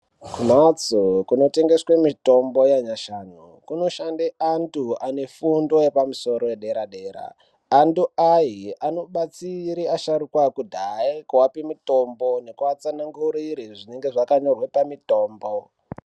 Kumhatso kunotengeswe mitombo yanyashanu ,kunoshande antu ane fundo yepamusoro yedera-dera. Antu aye anobatsire asharukwa akudhaye kuape mitombo, nekuatsanangurire zvinenga zvakanyorwe pamitombo.